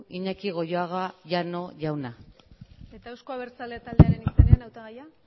iñaki goioaga llano jauna eta euzko abertzaleak taldearen izenean hautagaia